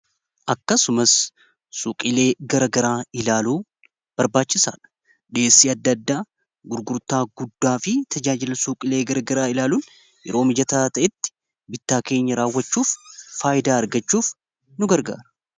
akkasumas suuqilee gara garaa ilaalunbarbaachisaadha dhiyessii adda addaa gurgurtaa guddaa fi tajaajila suuqilee garagaraa ilaaluun yeroo mijataa ta'etti bittaa keenya raawwachuuf faayidaa argachuuf nu gargaara.